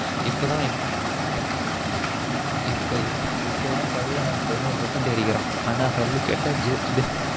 இப்ப தான் இப்ப இப்ப தான் பையன் பதினொரு percentage அடிக்குறான் ஆனா கல்லு கேட்டா zero